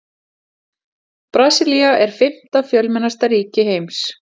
Brasilía er fimmta fjölmennasta ríki heims.